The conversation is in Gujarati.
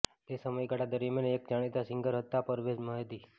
તે સમયગાળા દરમિયાન એક જાણીતા સિંગર હતા પરવેઝ મહેદી